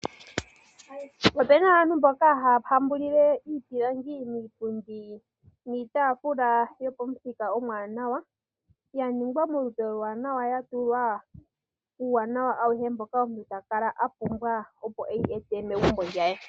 Opena aantu mboka haya hambulile iipilangi miipundi niitaafula yopamuthika omwaanawa , ya ningwa molupe olwaanawa ya tulwa uuwanawa auhe mboka omuntu ta kala a pumbwa opo eyi e te megumbo lye.